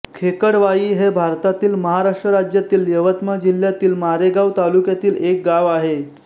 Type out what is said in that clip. खेकडवाई हे भारतातील महाराष्ट्र राज्यातील यवतमाळ जिल्ह्यातील मारेगांव तालुक्यातील एक गाव आहे